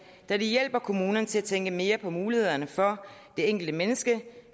vil hjælpe kommunerne til at tænke mere på mulighederne for det enkelte menneske